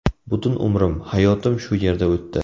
Butun umrim, hayotim shu yerda o‘tdi.